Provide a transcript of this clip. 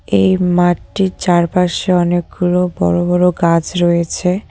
এই মাঠটির চারপাশে অনেকগুলো বড় বড় গাছ রয়েছে।